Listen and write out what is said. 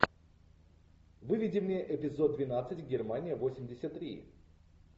выведи мне эпизод двенадцать германия восемьдесят три